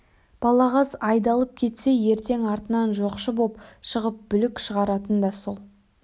балағаз айдалып кетсе ертең артынан жоқшы боп шығып бүлік шығаратын да сол